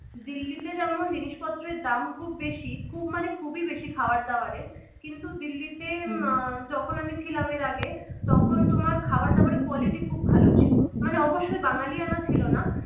দিল্লিতে যেমন জিনিসপত্রের দাম খুব বেশি খুব মানে খুবই বেশি খাবার দাবারের কিন্তু দিল্লিতে যখন আমি ছিলাম এর আগে তখন তোমার খাবার দাবারের quality খুব ভালো ছিল মানে অবশ্যই বাঙালিয়ানা ছিল না